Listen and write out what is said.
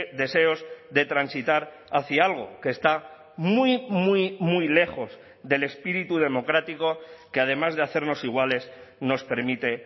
deseos de transitar hacia algo que está muy muy muy lejos del espíritu democrático que además de hacernos iguales nos permite